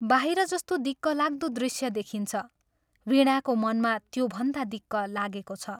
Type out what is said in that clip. बाहिर जस्तो दिक्कलाग्दो दृश्य देखिन्छ, वीणाको मनमा त्योभन्दा दिक्क लागेको छ।